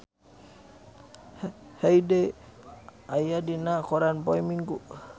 Hyde aya dina koran poe Minggon